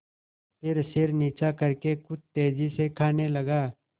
फिर सिर नीचा करके कुछ तेजी से खाने लगा